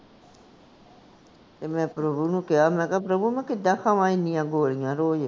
ਤੇ ਮੈਂ ਪ੍ਰਭੂ ਨੂੰ ਕਿਹਾ ਮੈਂ ਕਿਹਾ ਮੈਂ ਕਿੱਦਾਂ ਖਾਵਾਂ ਏਨੀਆਂ ਗੋਲੀਆਂ ਰੋਜ਼?